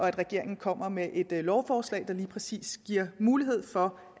at regeringen kommer med et lovforslag der lige præcis giver mulighed for